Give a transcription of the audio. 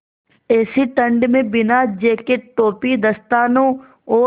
ऐसी ठण्ड में बिना जेकेट टोपी दस्तानों और